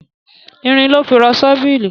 Irin lọ́ fi rọ ṣọ́bìrì.